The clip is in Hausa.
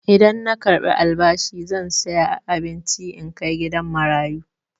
Idan na karɓi albashi zan saya abinci in kai gidan marayu.